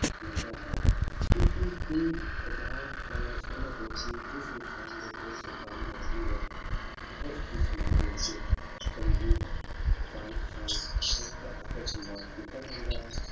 ਮਿਲਦਾ ਹੈ, ਤੁਸੀਂ ਕੀ ਅਜਿਹਾ ਗੱਲ ਨਾਲ ਸਹਿਮਤ ਹੋ ਕਿ ਜਿਸ ਇਨਸਾਨ ਦੇ ਕੋਲ ਸਰਕਾਰੀ ਨੌਕਰੀ ਹੈ, ਉਸਦੀ ਸਮਾਜ ਵਿੱਚ ਚੰਗੀ ਜਾਣ ਪਛਾਣ ਉਸਦਾ ਆਦਰ ਸਨਮਾਨ ਕੀਤਾ ਜਾਂਦਾ ਹੈ,